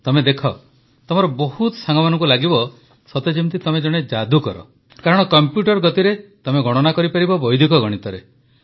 ତମେ ଦେଖ ତମର ବହୁତ ସାଙ୍ଗମାନଙ୍କୁ ଲାଗିବ ସତେଯେମିତି ତମେ ଜଣେ ଯାଦୁକର କାରଣ କମ୍ପ୍ୟୁଟର ଗତିରେ ତମେ ଗଣନା କରିପାରିବ ବୈଦିକ ଗଣିତରେ